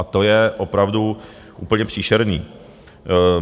A to je opravdu úplně příšerné.